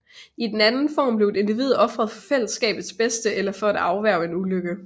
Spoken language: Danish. I den anden form blev et individ ofret for fællesskabets bedste eller for at afværge en ulykke